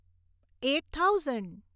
eight thousand